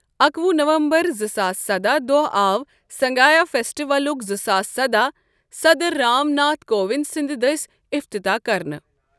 اکوُہ نومبر زٕ ساس سداہ دوہ آو سنگایہ فیسٹولُک زٕ ساس سداہ صدر رام ناتھ كووِند سٕنٛد دٔسۍ افتتاح كرنہٕ ۔